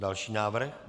Další návrh.